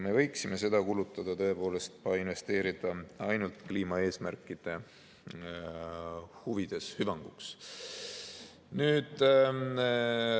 Me võiksime seda kulutada, investeerida ainult kliimaeesmärkide huvides ja hüvanguks.